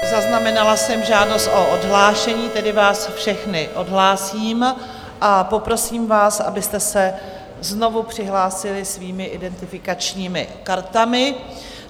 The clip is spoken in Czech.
Zaznamenala jsem žádost o odhlášení, tedy vás všechny odhlásím a poprosím vás, abyste se znovu přihlásili svými identifikačními kartami.